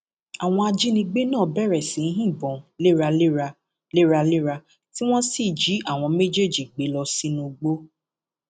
àwọn ajínigbé náà bẹrẹ sí í yìnbọn léraléra léraléra tí wọn sì jí àwọn méjèèjì gbé lọ sínú igbó